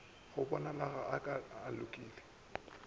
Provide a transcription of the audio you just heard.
go bonalago a ka lokela